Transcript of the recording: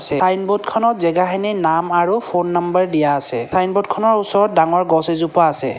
ছাইনবৰ্ডখনত জেগাখিনিৰ নাম আৰু ফোন নাম্বাৰ দিয়া আছে ছাইনবৰ্ডখনৰ ওচৰত ডাঙৰ গছ এজোপা আছে।